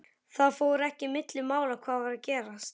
Það fór ekki milli mála hvað var að gerast.